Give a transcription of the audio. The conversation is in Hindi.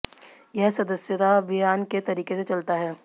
यह सदस्यता अभियान के तरीके से चलता है